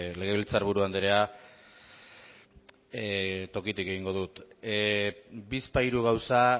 legebiltzarburu andrea tokitik egingo dut bizpahiru gauza